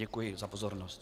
Děkuji za pozornost.